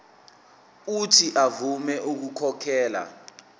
uuthi avume ukukhokhela